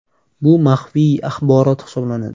Bu maxfiy axborot hisoblanadi.